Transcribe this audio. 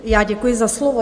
Já děkuji za slovo.